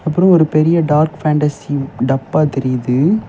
அப்புறம் ஒரு பெரிய டார்க் ஃபேண்டஸி டப்பா தெரியுது.